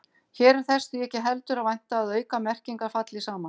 Hér er þess því ekki heldur að vænta að aukamerkingar falli saman.